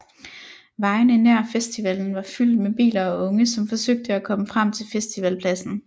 Vejene nær festivalen var fyldt med biler og unge som forsøgte at komme frem til festivalpladsen